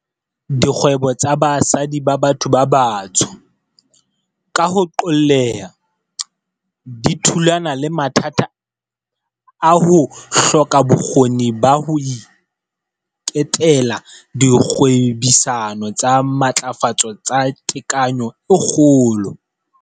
Dikgwebo tsa basadi ba batho ba batsho, ka ho qoolleha, di thulana le mathata a ho hloka bokgoni ba ho iketela dikgwebisano tsa matlafatso tsa tekanyo e kgolo.